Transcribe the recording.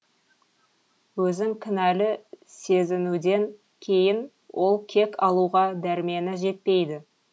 өзін кінәлі сезінуден кейін ол кек алуға дәрмені жетпейді